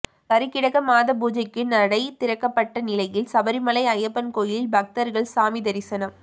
கருக்கிடக மாத பூஜைக்கு நடை திறக்கப்பட்ட நிலையில் சபரிமலை ஐயப்பன் கோயிலில் பக்தர்கள் சாமி தரிசனம்